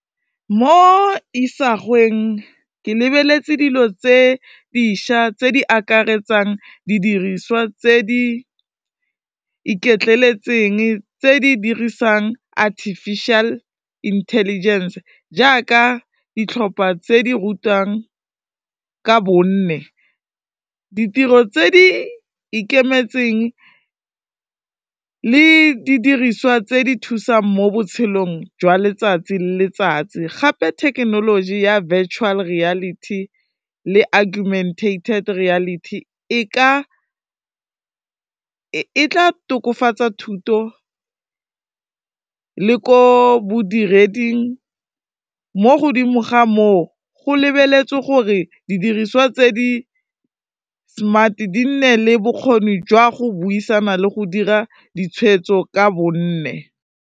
Mo isagweng ke lebeletse dilo tse dišwa tse di akaretsang didiriswa tse di iketleletseng, tse di dirisang artificial intelligence jaaka ditlhopha tse di rutiwang ka bone, ditiro tse di ikemetseng le di diriswa tse di thusang mo botshelong jwa letsatsi le letsatsi, gape thekenoloji ya virtual reality le argumentated reality e tla tokafatsa thuto le ko bodireding mo godimo ga mo, go lebeletswe gore didiriswa tse di-smart di nne le bokgoni jwa go buisana le go dira ditshwetso ka bone.